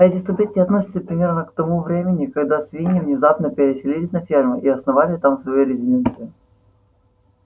эти события относятся примерно к тому времени когда свиньи внезапно переселились на ферму и основали там свою резиденцию